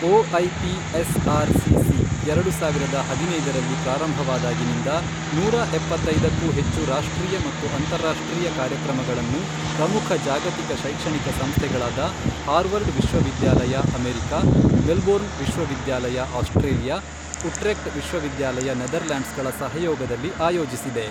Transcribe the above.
O I P S R C C ಎರಡು ಸಾವಿರದ ಹದಿನೈದರಲ್ಲಿ ಪ್ರಾರಂಭವಾದಾಗಿನಿಂದ, ನೂರಾ ಎಪ್ಪತ್ತೈದಕ್ಕೂ ಹೆಚ್ಚು ರಾಷ್ಟ್ರೀಯ ಮತ್ತು ಅಂತರರಾಷ್ಟ್ರೀಯ ಕಾರ್ಯಕ್ರಮಗಳನ್ನು ಪ್ರಮುಖ ಜಾಗತಿಕ ಶೈಕ್ಷಣಿಕ ಸಂಸ್ಥೆಗಳಾದ ಹಾರ್ವರ್ಡ್ ವಿಶ್ವವಿದ್ಯಾಲಯ ಅಮೆರಿಕಾ, ಮೆಲ್ಬೋರ್ನ್ ವಿಶ್ವವಿದ್ಯಾಲಯ ಆಸ್ಟ್ರೇಲಿಯಾ, ಉಟ್ರೆಕ್ಟ್ ವಿಶ್ವವಿದ್ಯಾಲಯ ನೆದರ್ಲ್ಯಾಂಡ್ಸ್ ಗಳ ಸಹಯೋಗದಲ್ಲಿ ಆಯೋಜಿಸಿದೆ.